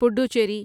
Puducherry